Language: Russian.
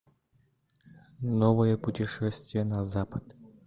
новое путешествие на запад